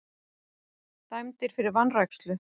Dæmdir fyrir vanrækslu